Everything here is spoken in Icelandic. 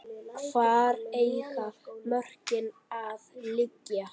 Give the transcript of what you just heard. Hvar eiga mörkin að liggja?